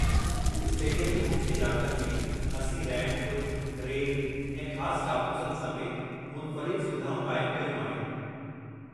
Stadium जे मुख्य इलाक़नि में, असीं रैंप, रेल ऐं ख़ास काकूसनि समेति मुनफ़रिद सुविधाऊं क़ाइमु कयूं आहिनि।